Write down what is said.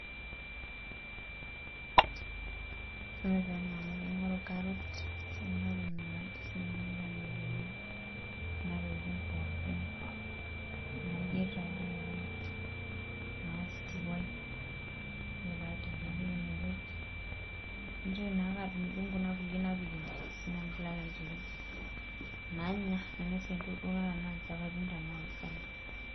Ore taa ena naa kaingory karoti, naingoru akeyie kunatokitin pookin, nayieri taa dii ake, naa stew ai ore pee aidip napik ine wueji, naitoki naake adungidung', Kuna kulie ajo naa sii nanu pee ilo aitereu, nanya, nainosie entoki duo naata tenaa nchapatini, tenaa orgali.